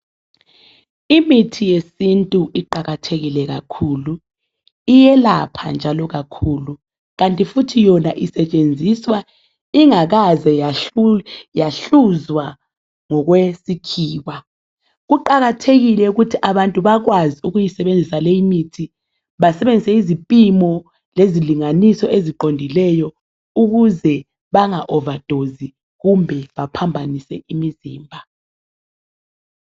Imithi yesintu iqakathekile kakhulu iyelapha njalo kakhulu kanti futhi yona isetshenziswa ingakaze yahluzwa ngokwesikhiwa kuqakathekile ukuthi abantu bakwazi ukuyisebenzisa lemithi basebenzise izipimo lezilinganiso eziqondileyo ukuze benga overdose kumbe baphambanise imizimba .